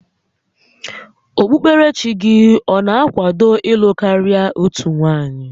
Okpukoerechi gị ọ na-akwado ịlụ karị otu nwanyị?